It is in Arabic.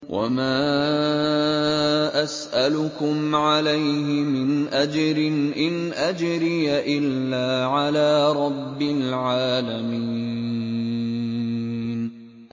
وَمَا أَسْأَلُكُمْ عَلَيْهِ مِنْ أَجْرٍ ۖ إِنْ أَجْرِيَ إِلَّا عَلَىٰ رَبِّ الْعَالَمِينَ